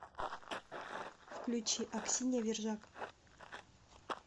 включи аксинья вержак